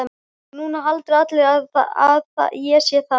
Og núna halda allir að ég sé þaðan.